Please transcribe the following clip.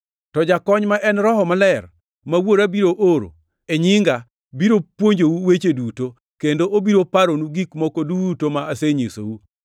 To Jakony, ma en Roho Maler, ma Wuora biro oro e nyinga, biro puonjou weche duto, kendo obiro paronu gik moko duto ma asenyisou.